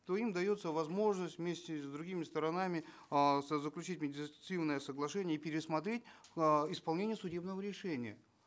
то им дается возможность вместе с другими сторонами э заключить медиативное соглашение и пересмотреть э исполнение судебного решения